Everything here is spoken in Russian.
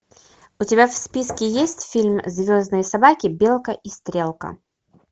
у тебя в списке есть фильм звездные собаки белка и стрелка